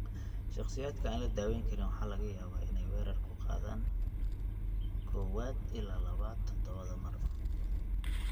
Shakhsiyaadka aan la daawayn waxa laga yaabaa inay weerar ku qaadaan kowad ilaa labad toddobaadba mar.